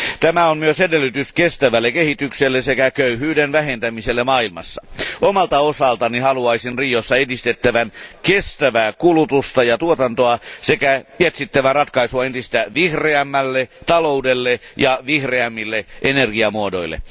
Tämä on myös edellytys kestävälle kehitykselle sekä köyhyyden vähentämiselle maailmassa. Omalta osaltani haluaisin Riossa edistettävän kestävää kulutusta ja tuotantoa sekä etsittävän ratkaisua entistä vihreämmälle taloudelle ja vihreämmille energiamuodoille.